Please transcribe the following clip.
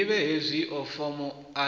ḓivhe hezwio fomo a dzi